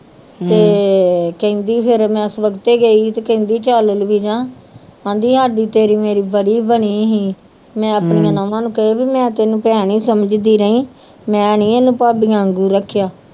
ਤੇ ਕਹਿੰਦੀ ਫਿਰ ਮੈਂ ਸਵੱਖਤੇ ਗਈ ਸੀ ਤੇ ਕਹਿੰਦੀ ਚੱਲ ਲਫ਼ੀਜਾ ਕਹਿੰਦੀ ਅੱਜ ਤੇਰੀ ਮੇਰੀ ਬੜੀ ਬਣੀ ਸੀ, ਮੈਂ ਆਪਣੀਆਂ ਨਹੁੰਆਂ ਨੂੰ ਕਹੀ ਵੀ ਮੈਂ ਤੈਨੂੰ ਭੈਣ ਹੀ ਸਮਝਦੀ ਰਹੀ, ਮੈਂ ਨੀ ਇਹਨੂੰ ਭਾਬੀਆਂ ਵਾਂਗੂ ਰੱਖਿਆ